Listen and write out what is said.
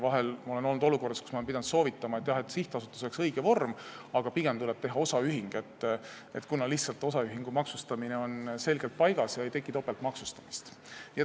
Vahel ma olen olnud olukorras, kus ma olen pidanud soovitama, et sihtasutus oleks õige vorm, aga pigem tuleb teha osaühing, kuna osaühingu maksustamine on selgelt paigas ega teki topeltmaksustamist.